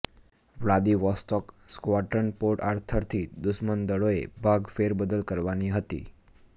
Vladivostok squadron Port Arthur થી દુશ્મન દળોએ ભાગ ફેરબદલ કરવાની હતી